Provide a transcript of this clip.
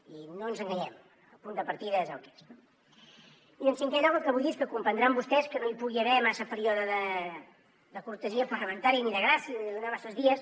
i no ens enganyem el punt de partida és el que és no i en cinquè lloc el que vull dir és que comprendran vostès que no hi pugui haver massa període de cortesia parlamentària ni de gràcia ni de donar masses dies